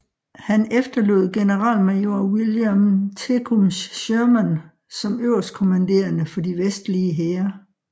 Han efterlod generalmajor William Tecumseh Sherman som øverstkommanderende for de vestlige hære